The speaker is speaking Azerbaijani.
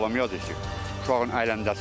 Mən bağlamaya yazır ki, uşağın əyləncəsidir.